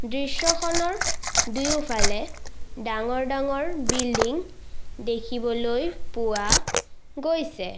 দৃশ্যখনৰ দুয়োফালে ডাঙৰ ডাঙৰ বিল্ডিং দেখিবলৈ পোৱা গৈছে।